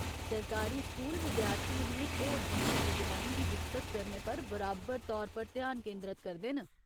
सरकारी स्कूल विद्यार्थियें दियें होर दूइयें प्रतिभाएं गी विकसत करने पर बराबर तौर पर ध्यान केंदरत करदे न।